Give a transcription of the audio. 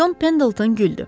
Con Pendleton güldü.